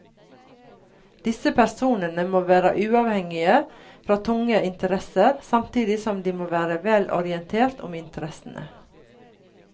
Disse personene må være uavhengige fra tunge interesser, samtidig som de må være vel orientert om interessene.